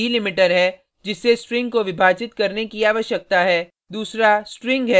पहला argument delimiter है जिससे स्ट्रिंग को विभाजित करने की आवश्यकता है